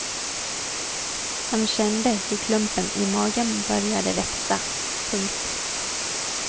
Han kände hur klumpen i magen började växa. punkt